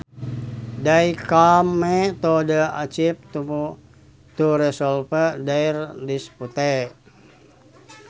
They came to the chief to resolve their dispute